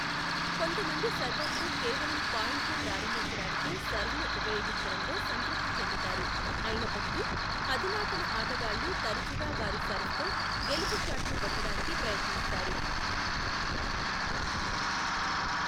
కొంతమంది సర్వర్లు కేవలం పాయింట్ను ప్రారంభించడానికే సర్వ్ను ఉపయోగించడంలో సంతృప్తి చెందుతారు, అయినప్పటికీ, అధునాతన ఆటగాళ్ళు తరచుగా వారి సర్వ్తో గెలుపు షాట్ను కొట్టడానికి ప్రయత్నిస్తారు.